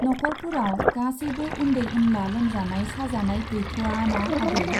नखरफोराव गासैबो उन्दै उनला लोमजानाय साजानाय गैथ'वाना आदै?